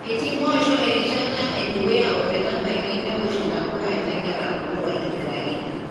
Etii mpoosho erishatae dukuya o metabaiki newosh intapuka negira aabulu aitobiraki.